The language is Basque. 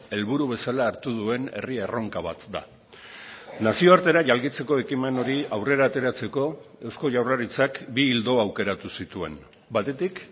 helburu bezala hartu duen herri erronka bat da nazioartera jalgitzeko ekimen hori aurrera ateratzeko eusko jaurlaritzak bi ildo aukeratu zituen batetik